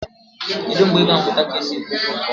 Kedu mgbe ị ga-amụta ka esi ekwu okwu nke ọma?